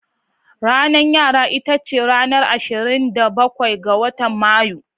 Ranar yara ita ce ranar asirin da ɓakwai ga Mayu.